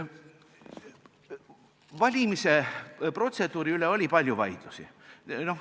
Valimise protseduuri üle oli palju vaidlusi.